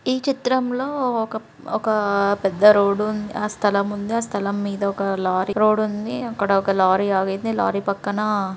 ఈ చిత్రంలో ఒక ఒక పెద్ద రోడ్డు ఉ ఆ స్థలం ఉంది ఆ స్థలం మీద ఒక లారీ రోడ్డు ఉంది అక్కడ ఒక లారీ ఆగింది లారి పక్కన --